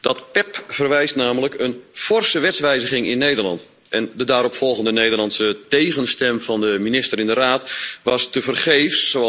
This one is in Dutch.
Dat PEPP vereist namelijk een forse wetswijziging in Nederland en de daaropvolgende Nederlandse tegenstem van de minister in de Raad was tevergeefs.